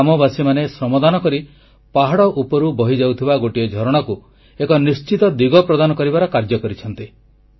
ଗ୍ରାମବାସୀମାନେ ଶ୍ରମଦାନ କରି ପାହାଡ଼ ଉପରୁ ବହିଯାଉଥିବା ଗୋଟିଏ ଝରଣାକୁ ଏକ ନିଶ୍ଚିତ ଦିଗ ପ୍ରଦାନ କରିବାର କାର୍ଯ୍ୟ କରିଛନ୍ତି